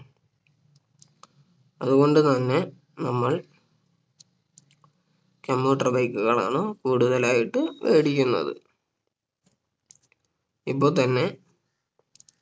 അതുകൊണ്ട് തന്നെ നമ്മൾ commuter bike കളാണ് കൂടുതലായിട്ട് വേടിക്കുന്നത് ഇപ്പൊ തന്നെ